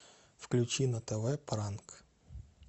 включи на тв пранк